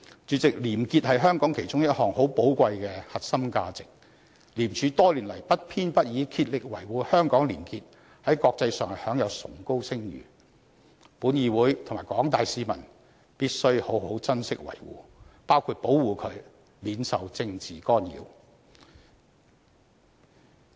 主席，廉潔是香港其中一項很寶貴的核心價值，廉署多年來不偏不倚的竭力維護香港的廉潔，在國際上享有崇高聲譽，因此本議會及廣大市民必須好好珍惜維護，包括保護它免受政治干擾。